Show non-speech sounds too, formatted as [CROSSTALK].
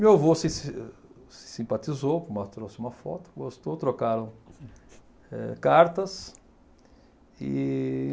Meu avô se se se simpatizou, [UNINTELLIGIBLE] trouxe uma foto, gostou, trocaram eh cartas. E